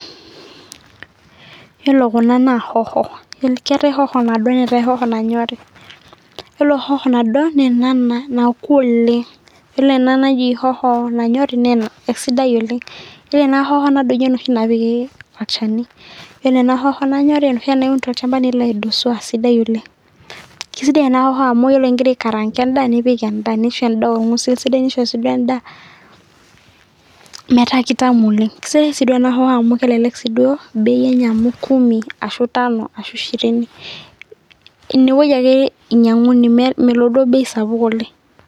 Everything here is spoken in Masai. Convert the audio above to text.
wore kuna naa hoho ketaii hoho naado netaii hoho nanyori wore hoho nado naa ena naoku oleng wore enaa naji hoho nanyori